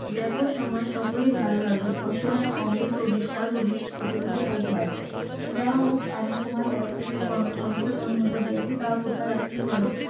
দেখো সময়ে সকলে ভালো লাগে অসময়ে অমৃত বিশাল বিষ তুল্য বোধ হয়, যাহা হউক আমি তোমার কে সহস্র স্বর্ণ মুদ্রা দি তা কোথা রাখিলে বল,